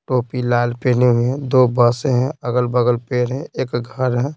टोपी लाल पहने हुए हैं दो बस हैं अगल-बगल पैर हैं एक घर है।